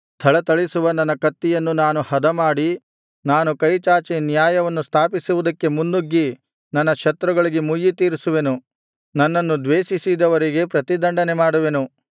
ಥಳಥಳಿಸುವ ನನ್ನ ಕತ್ತಿಯನ್ನು ನಾನು ಹದಮಾಡಿ ನಾನು ಕೈ ಚಾಚಿ ನ್ಯಾಯವನ್ನು ಸ್ಥಾಪಿಸುವುದಕ್ಕೆ ಮುನ್ನುಗ್ಗಿ ನನ್ನ ಶತ್ರುಗಳಿಗೆ ಮುಯ್ಯಿತೀರಿಸುವೆನು ನನ್ನನ್ನು ದ್ವೇಷಿಸಿದವರಿಗೆ ಪ್ರತಿದಂಡನೆ ಮಾಡುವೆನು